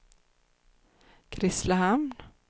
Grisslehamn